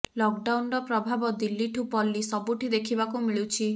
lock ଡାଉନର ପ୍ରଭାବ ଦିଲ୍ଲୀଠୁ ପଲ୍ଲି ସବୁଠି ଦେଖିବାକୁ ମିଳୁଛିି